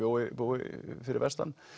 búi fyrir vestan